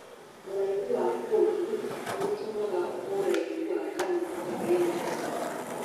ũraihu wa kũndũ nũgũtũmaga ũraihu wa ngano ũgie na ũtiganu.